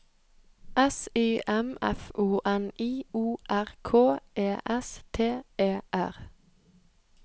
S Y M F O N I O R K E S T E R